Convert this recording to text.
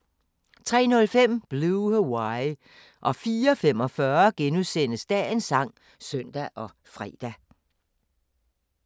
03:05: Blue Hawaii 04:45: Dagens sang *(søn og fre)